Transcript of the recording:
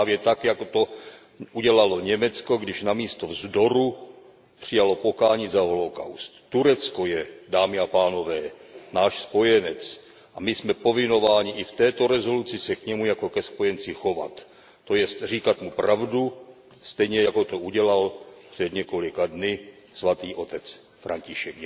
Právě tak jako to udělalo Německo když namísto vzdoru přijalo pokání za holokaust. Turecko je, dámy a pánové, náš spojenec a my jsme povinni i v této rezoluci se k němu jako ke spojenci chovat. To jest říkat mu pravdu, stejně jako to udělal před několika dny Svatý otec František.